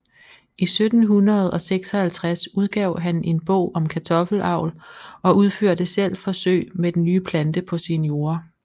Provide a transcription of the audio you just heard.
I 1756 udgav han en bog om kartoffelavl og udførte selv forsøg med den nye plante på sine jorder